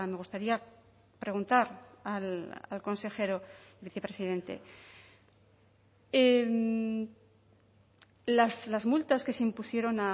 gustaría preguntar al consejero vicepresidente las multas que se impusieron